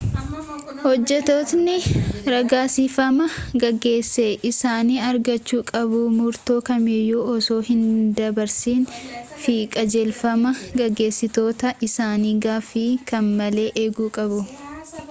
hojjetootni ragaasifamaa gaggeessa isaanii argachu qabu murtoo kamiyyuu osoo hin dabarsin fi qajeelfamaa gaggeessitoota isaanii gaffii kam malee eegu qabu